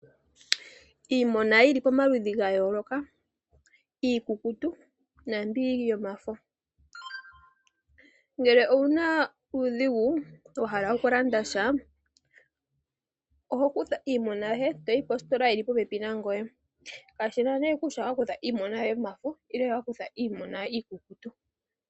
Iimaliwa yili pamaludhi ga yooloka, iikukutu naambyoka yomafo. Ngele owuna uudhigu, wa hala okulanda sha, oho kutha iimaliwa yoye toyi positola yili popepi nangoye. Kashina nee kutya owa kutha iimaliwa yomafo nenge owa kutha iimaliwa ikukutu.